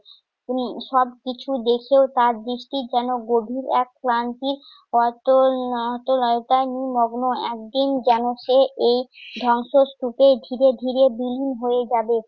আপনি সবকিছু দেখেও তার দৃষ্টি যেন গভীর এক ক্লান্তির অতল~ অতলয়তায় নিমগ্ন। একদিন যেন সে এই ধবংসস্তূপে যেন ধীরে ধীরে বিলীন হয়ে যাবে।